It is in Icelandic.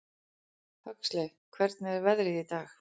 Huxley, hvernig er veðrið í dag?